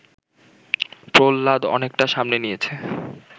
প্রহ্লাদ অনেকটা সামনে নিয়েছে